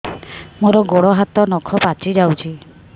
ମୋର ଗୋଡ଼ ହାତ ନଖ ପାଚି ଯାଉଛି